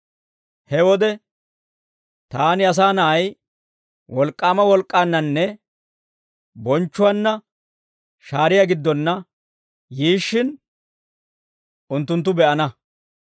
He wode taani, Asaa Na'ay, wolk'k'aama wolk'k'aannanne bonchchuwaanna shaariyaa giddonna yiishshin, unttunttu be'ana.